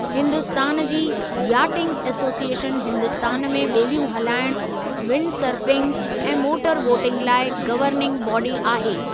हिन्दुस्तान जी yachting association Hindustan में ॿेड़ियूं हुलाइणु्, विंडसर्फ़िंग ऐं मोटरबोटिंग लाइ गवर्निंग बाडी आहे।